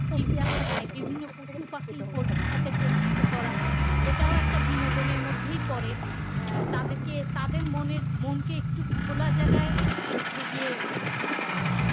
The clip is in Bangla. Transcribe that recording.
চিড়িয়াখানায় সাথে পরিচিত করা এটাও একটা বিনোদন এর মধ্যেই পরে আহ তাদেরকে তাদের মনের মনকে একটু খোলা জায়গায় হচ্ছে গিয়ে আহ